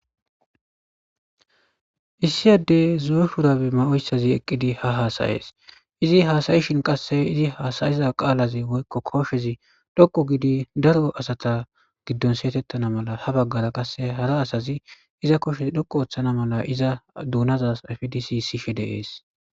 issiy addey zo'o shurabe ma7oyssazi eqqidi ha haasayees izi haasayishin qasse izi haasayiza qaalaze woykko koshezi dhoqo gidi daro asata giddon seyetettana mala ha baggara qasse hara asazi iza koshezi dhoqo ooththana mala iza duunazas afdisi sishe deees